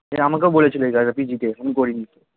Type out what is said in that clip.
এটা আমাকেও বলেছিল এই কাজটা পিজি তে আমি করিনি